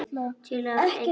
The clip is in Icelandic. Til að eitra líf þeirra.